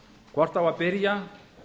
hvort á að byrja